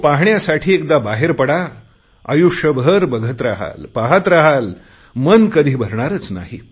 तो पाहण्यासाठी एकदा बाहेर पडा आयुष्यभर बघत रहाल पहात रहाल मन कधी भरणारच नाही